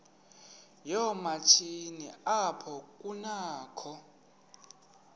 yoomatshini apho kunakho